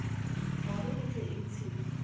gore e tle e ntshiwe